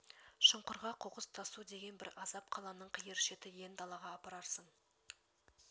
шұңқырға қоқыс тасу деген бір азап қаланың қиыр шеті иен далаға апарасың